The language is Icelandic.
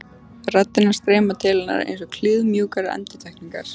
Raddirnar streyma til hennar einsog kliðmjúkar endurtekningar.